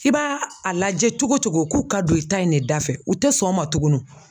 I b'a a lajɛ cogo cogo k'u ka don i ta in ne da fɛ u tɛ sɔn o ma tugunu.